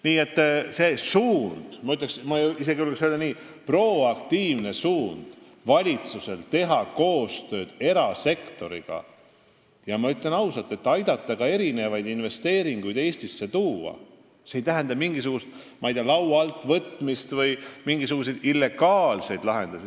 Nii et see valitsuse suund, ma julgeks isegi öelda, et proaktiivne suund teha koostööd erasektoriga – ja ma ütlen ausalt välja, selleks et aidata ka Eestisse investeeringuid tuua – ei tähenda mingi asja laua alt võtmist või illegaalseid lahendusi.